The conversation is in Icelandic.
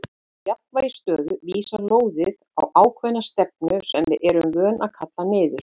Í jafnvægisstöðu vísar lóðið í ákveðna stefnu sem við erum vön að kalla niður.